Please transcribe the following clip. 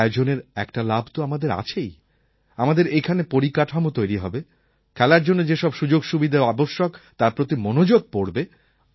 এই আয়োজনের একটা লাভ তো আমাদের আছেই আমাদের এখানে পরিকাঠামো তৈরি হবে খেলার জন্য যে সব সুযোগসুবিধা আবশ্যক তার প্রতি মনোযোগ পড়বে